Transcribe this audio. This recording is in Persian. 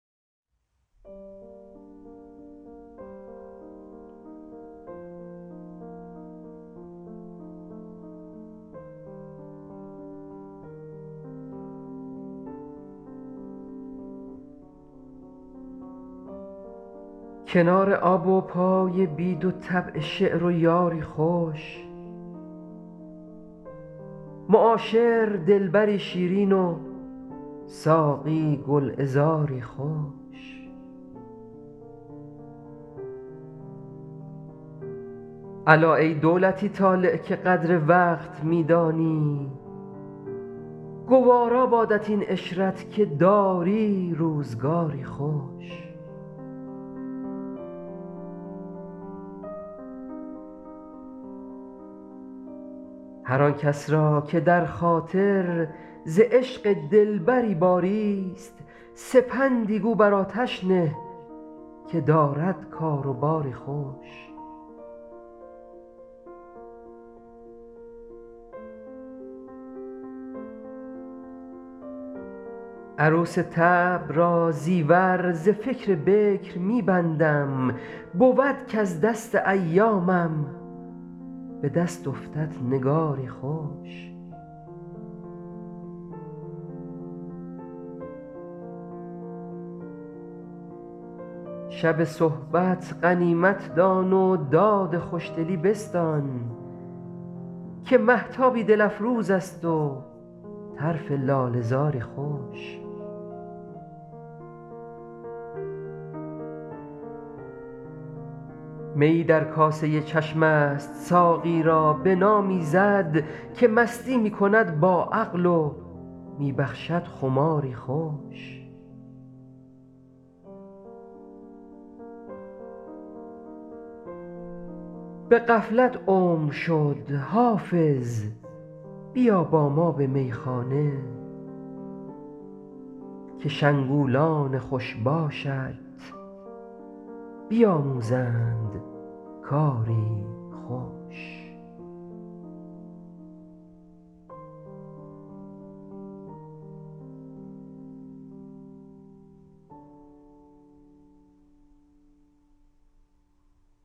کنار آب و پای بید و طبع شعر و یاری خوش معاشر دلبری شیرین و ساقی گلعذاری خوش الا ای دولتی طالع که قدر وقت می دانی گوارا بادت این عشرت که داری روزگاری خوش هر آن کس را که در خاطر ز عشق دلبری باریست سپندی گو بر آتش نه که دارد کار و باری خوش عروس طبع را زیور ز فکر بکر می بندم بود کز دست ایامم به دست افتد نگاری خوش شب صحبت غنیمت دان و داد خوشدلی بستان که مهتابی دل افروز است و طرف لاله زاری خوش میی در کاسه چشم است ساقی را بنامیزد که مستی می کند با عقل و می بخشد خماری خوش به غفلت عمر شد حافظ بیا با ما به میخانه که شنگولان خوش باشت بیاموزند کاری خوش